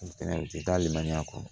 U tɛ taa limaniya kɔnɔ